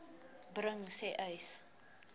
bring sê uys